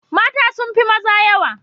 Mata sun fi maza yawa